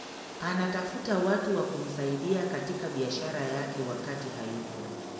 anatafuta watu wa kumsaidia katika biashara yake wakati hayuko